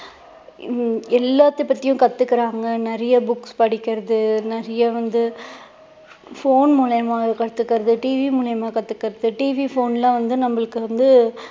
ஹம் எல்லாத்தை பத்தியும் கத்துக்குறாங்க நிறைய books படிக்கிறது நிறைய வந்து phone மூலமா கத்துக்கிறது TV மூலியமா கத்துக்கிறது TV phone லாம் வந்து நம்மளுக்கு வந்து